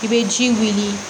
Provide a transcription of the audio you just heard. I bɛ ji min